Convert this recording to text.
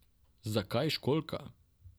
Zakaj školjka?